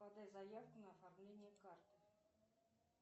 подай заявку на оформление карты